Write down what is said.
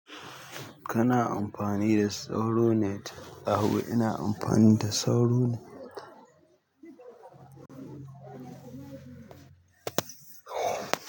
Kana amfani da sauro net? Eh ina amfani da sauro net.